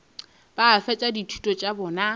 ba fetša dithuto tša bona